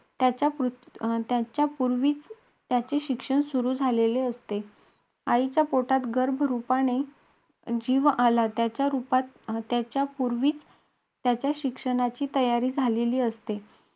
त्याच्यापूर्वीच अं त्याच्यापूर्वीच मनुष्य जन्मतो त्याच्यापूर्वीच त्याचे शिक्षण सुरू झालेले असते. आईच्या पोटात गर्भरूपाने जीव आला. त्याच्यापूर्वीच त्याच्या शिक्षणाची तयारी झालेली असते.